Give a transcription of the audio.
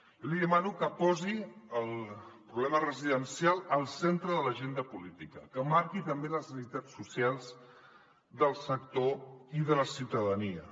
jo li demano que posi el problema residencial al centre de l’agenda política que marqui també les necessitats socials del sector i de la ciutadania